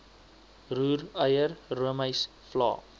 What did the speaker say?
roereier roomys vla